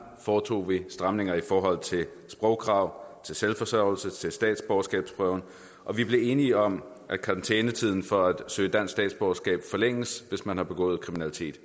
foretog vi stramninger i forhold til sprogkrav til selvforsørgelse til statsborgerskabsprøven og vi blev enige om at karantænetiden for at søge dansk statsborgerskab forlænges hvis man har begået kriminalitet